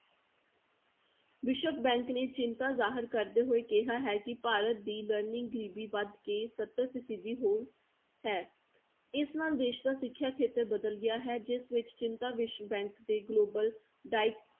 ਵਿਸ਼ਵ bank ਨੇ ਚਿੰਤਾ ਜਾਹਰ ਕਰਦੇ ਹੋਏ ਕਿਹਾ ਹੈ ਕਿ ਭਾਰਤ ਦੀ learning ਗ਼ਰੀਬੀ ਵੱਧ ਕੇ ਸੱਤਰ ਫੀਸਦੀ ਹੋ ਹੈ, ਇਸ ਨਾਲ ਦੇਸ ਦਾ ਸਿੱਖਿਆ ਖੇਤਰ ਬਦਲ ਗਿਆ ਹੈ ਜਿਸ ਵਿੱਚ ਚਿੰਤਾ ਵਿਸ਼ਵ bank ਦੇ global di~